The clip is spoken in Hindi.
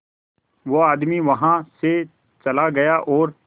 वो आदमी वहां से चला गया और